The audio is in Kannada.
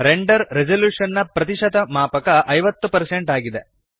ರೆಂಡರ್ ರೆಸಲ್ಯೂಶನ್ ನ ಪ್ರತಿಶತ ಮಾಪಕ 50 ಆಗಿದೆ